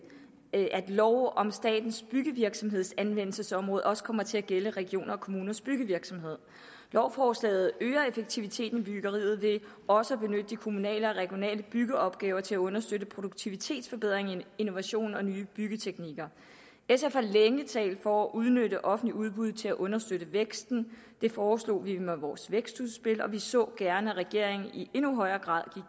at lov om statens byggevirksomheds anvendelsesområde også kommer til at gælde regioners og kommuners byggevirksomhed lovforslaget øger effektiviteten i byggeriet ved også at benytte de kommunale og regionale byggeopgaver til at understøtte produktivitetsforbedring innovation og nye byggeteknikker sf har længe talt for at udnytte offentlige udbud til at understøtte væksten det foreslog vi i vores vækstudspil og vi så gerne at regeringen i endnu højere grad